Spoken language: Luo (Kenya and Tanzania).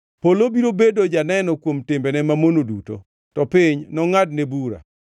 Polo biro bedo janeno kuom timbene mamono duto; to piny nongʼadne bura.